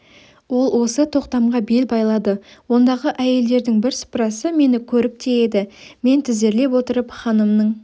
ол осы тоқтамға бел байлады ондағы әйелдердің бірсыпырасы мені көріп те еді мен тізерлеп отырып ханымның